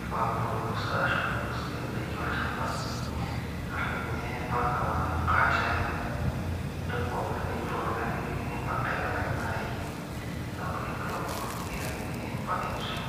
,farm produce idaki olchamba, emukate , entoki akeyie pooki niyieu tolduka naa ilak ake ena ambuni eglovo nikiyaki ampaka eweji nitii.